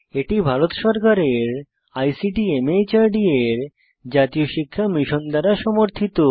এটি ভারত সরকারের আইসিটি মাহর্দ এর জাতীয় শিক্ষা মিশন দ্বারা সমর্থিত